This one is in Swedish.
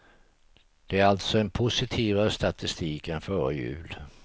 Det är alltså en positivare statistik än före jul.